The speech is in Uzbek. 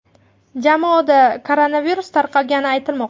Jamoada koronavirus tarqalgani aytilmoqda.